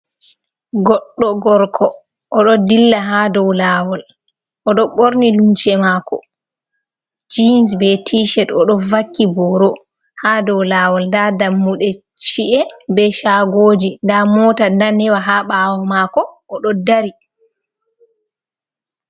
Goddo gorko odo dilla ha dow lawol odo borni lumse mako jens be tished o do vakki boro, ha dow lawol da dammude chi’e be shagoji da mota danewa ha bawo mako odo dari